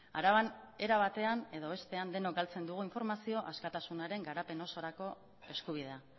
araban era batean edo bestean denok galtzen dugun informazio askatasunaren garapen osorako eskubidea